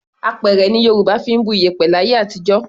Apẹ̀rẹ̀ ni Yorùbá fi ń bu iyẹ̀pẹ̀ láyé àtijọ́.